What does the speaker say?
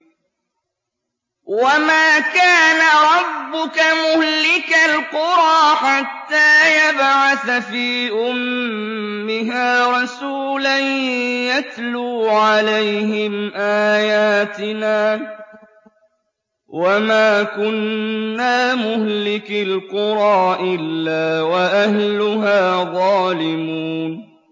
وَمَا كَانَ رَبُّكَ مُهْلِكَ الْقُرَىٰ حَتَّىٰ يَبْعَثَ فِي أُمِّهَا رَسُولًا يَتْلُو عَلَيْهِمْ آيَاتِنَا ۚ وَمَا كُنَّا مُهْلِكِي الْقُرَىٰ إِلَّا وَأَهْلُهَا ظَالِمُونَ